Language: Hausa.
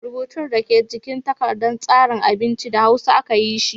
Rubutun da ke jikin takardar tsarin abincin, da hausa aka yi shi.